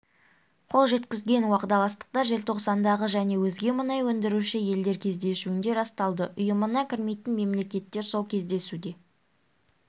қол жеткізген уағдаластықтар желтоқсандағы және өзге мұнай өндіруші елдер кездесуінде расталды ұйымына кірмейтін мемлекеттер сол кездесуде